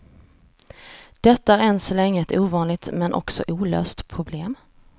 Detta är än så länge ett ovanligt, men också olöst problem.